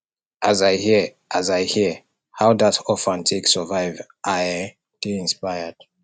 as i hear as i hear how dat orphan take survive i um dey inspired